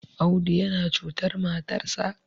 Audu yana cutar matarsa